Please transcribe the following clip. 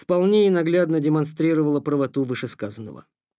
исполнение наглядно демонстрировала правоту вышесказанного